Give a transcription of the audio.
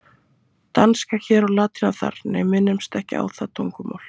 Danska hér og latína þar, nei, minnumst ekki á það tungumál.